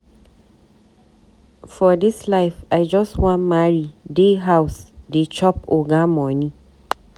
For dis life, I just wan marry, dey house dey chop oga moni.